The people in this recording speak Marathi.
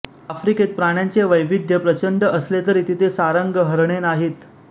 अफ्रिकेत प्राण्याचे वैविध्य प्रचंड असले तरी तिथे सारंग हरणे नाहीत